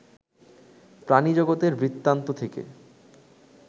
প্রাণিজগতের বৃত্তান্ত থেকে